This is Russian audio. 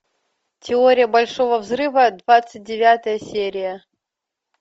теория большого взрыва двадцать девятая серия